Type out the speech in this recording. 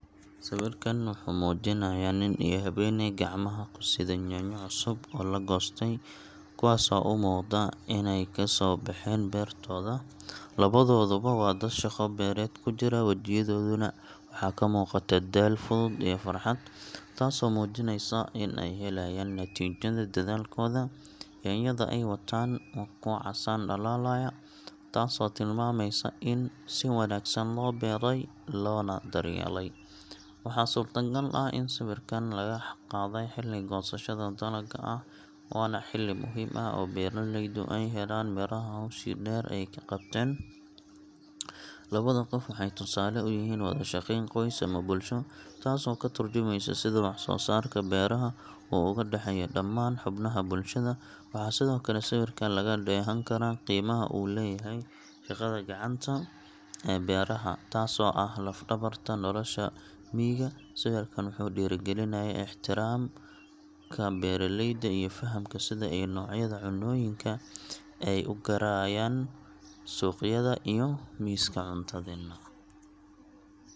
Sawirkan wuxuu muujinayaa nin iyo haweeney gacmaha ku sida yaanyo cusub oo la goostay, kuwaas oo u muuqda inay kasoo baxeen beertooda. Labadooduba waa dad shaqo beereed ku jira, wejiyadoodana waxaa ka muuqata daal fudud iyo farxad, taasoo muujinaysa in ay ka helayaan natiijada dadaalkooda. Yaanyada ay wataan waa kuwo casaan dhalaalaya, taasoo tilmaamaysa in si wanaagsan loo beeray loona daryeelay. Waxaa suurtagal ah in sawirkan laga qaaday xilli goosashada dalagga ah, waana xilli muhiim ah oo beeraleydu ay helaan miraha hawshii dheer ee ay qabteen. Labada qof waxay tusaale u yihiin wada shaqayn qoys ama bulsho, taasoo ka tarjumeysa sida wax-soo-saarka beeraha uu uga dhaxeeyo dhammaan xubnaha bulshada. Waxaa sidoo kale sawirka laga dheehan karaa qiimaha uu leeyahay shaqada gacanta ee beeraha, taasoo ah laf-dhabarta nolosha miyiga. Sawirkan wuxuu dhiirrigelinayaa ixtiraamka beeraleyda iyo fahamka sida ay noocyada cunnooyinka ay u gaarayaan suuqyada iyo miiska cuntadeenna.